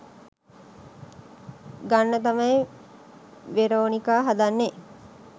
ගන්න තමයි වෙරෝනිකා හදන්නේ